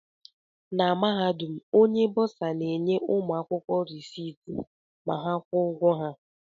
Na Mahadum, Onye Bọsa na-enye ụmụ akwụkwọ reciiti ma ha kwụọ ụgwọ ha